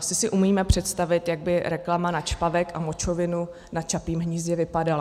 Asi si umíme představit, jak by reklama na čpavek a močovinu na Čapím hnízdě vypadala.